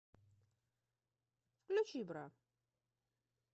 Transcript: включи бра